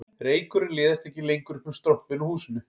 Reykurinn liðast ekki lengur upp um strompinn á húsinu